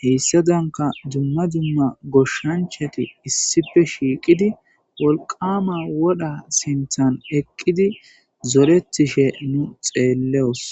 heyssadanka dumma dumma goshshanchati issipe shiiqidi wolqama wodha sinthan eqqidi zoretishe nu xeelleos